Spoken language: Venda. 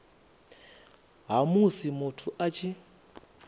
ha musi muthu a tshi